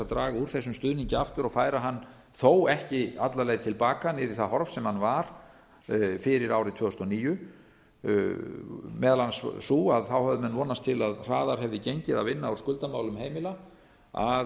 draga úr þessum stuðningi aftur og færa hann þó ekki alla leið til baka niður í það horf sem hann var fyrir árið tvö þúsund og níu voru meðal annars þau að þá höfðu menn vonast til að hraðar hefði gengið að vinna úr skuldamálum heimila að